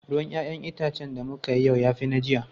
Ruwan 'ya'yan itacen da muka yi yau ya fi na jiya.